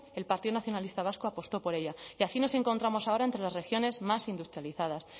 el partido nacionalista vasco apostó por ella y así nos encontramos ahora entre las regiones más industrializadas